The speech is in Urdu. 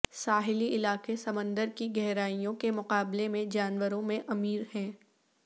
ساحلی علاقے سمندر کی گہرائیوں کے مقابلے میں جانوروں میں امیر ہے